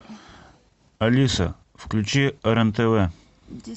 алиса включи рен тв